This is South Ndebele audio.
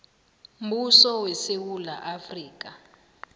mbuso wesewula afrika